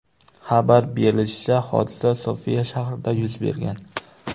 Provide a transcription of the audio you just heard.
Xabar berilishicha, hodisa Sofiya shahrida yuz bergan.